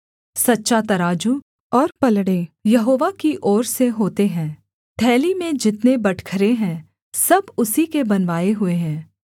सच्चा तराजू और पलड़े यहोवा की ओर से होते हैं थैली में जितने बटखरे हैं सब उसी के बनवाए हुए हैं